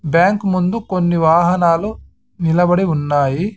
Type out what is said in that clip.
Bank ముందు కొన్ని వాహనాలు నిలబడి ఉన్నాయి.